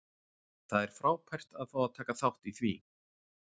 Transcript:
Það er frábært að fá að taka þátt í því.